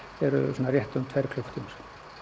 eru rétt um tveir klukkutímar